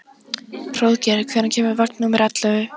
Hróðgeir, hvenær kemur vagn númer ellefu?